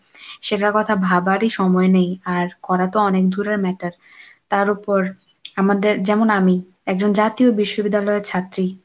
সেটার কথা ভাবারই সময় নেই, আর করা তো অনেক দূরের matter তার তার উপর আমাদের যেমন আমি, একজন জাতীয় বিশ্ববিদ্যালয়ের ছাত্রী।